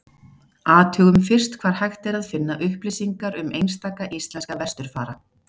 Athugum fyrst hvar hægt er að finna upplýsingar um einstaka íslenska vesturfara.